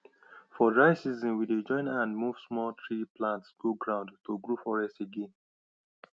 for dry season we dey join hand move small tree plants go ground to grow forest again